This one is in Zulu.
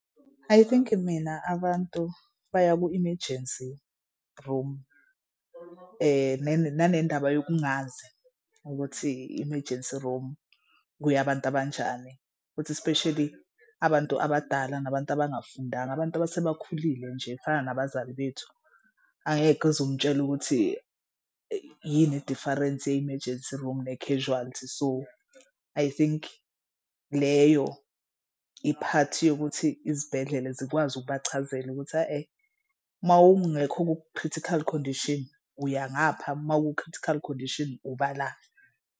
I think mina abantu baya ku-emergency room nanendaba yokungazi ukuthi i-emergency room kuya abantu abanjani futhi especially abantu abadala nabantu abangafundanga abantu abasebakhulile nje fana nabazali bethu. Angeke uzumtshela ukuthi yini idifarensi ye-emergence room ne-casualty. So I think leyo iphathi yokuthi izibhedlela zikwazi ukubachazela ukuthi mawungekho ku-critical condition uya ngapha mawuku-critical condition ubala.